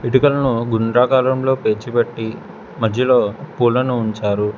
ఇటుకులను గుండ్రకారంలో పేర్చి పెట్టి మజ్జిలో పూలను ఉంచారు.